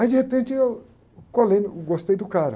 Aí de repente eu colei, gostei do cara.